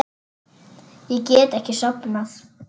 Ég get ekki sofnað.